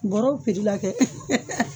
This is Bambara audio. Bɔrɔw pri la kɛ